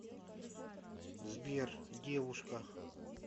сбер девушка